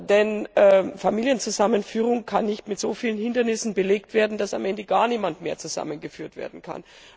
Denn Familienzusammenführung kann nicht mit so vielen Hindernissen belegt werden, dass am Ende gar niemand mehr zusammengeführt werden kann.